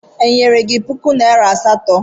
Enyere gi puku naịra asatọ?